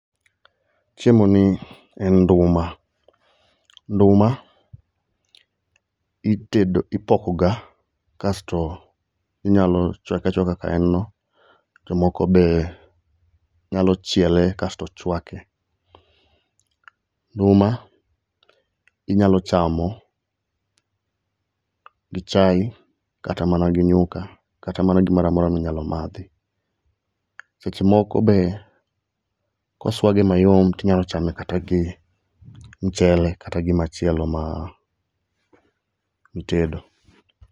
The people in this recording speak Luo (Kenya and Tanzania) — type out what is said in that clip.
Chiemo ni en nduma, nduma itedo ipokoga kasto inyalo chwake achwaka kaka en no. Jomoko be nyalo chiele kasto chwake. Nduma inyalo chamo gi chai, kata gi nyuka, kata mana gimoramora minyalo madhi. Seche moko be koswage mayom tinyalo chame kata gi mchele kata gimachielo ma mitedo.